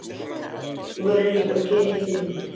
Þú verður líka að gera eitt fyrir mig.